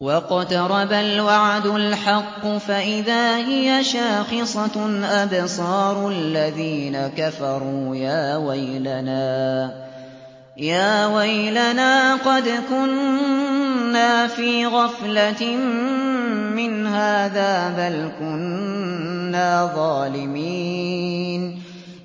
وَاقْتَرَبَ الْوَعْدُ الْحَقُّ فَإِذَا هِيَ شَاخِصَةٌ أَبْصَارُ الَّذِينَ كَفَرُوا يَا وَيْلَنَا قَدْ كُنَّا فِي غَفْلَةٍ مِّنْ هَٰذَا بَلْ كُنَّا ظَالِمِينَ